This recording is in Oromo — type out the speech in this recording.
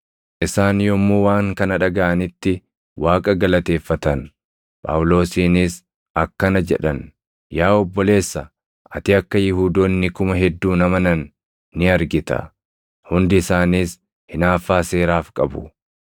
Isaan yommuu waan kana dhagaʼanitti Waaqa galateeffatan. Phaawulosiinis akkana jedhan; “Yaa obboleessa, ati akka Yihuudoonni kuma hedduun amanan ni argita; hundi isaaniis hinaaffaa seeraaf qabu.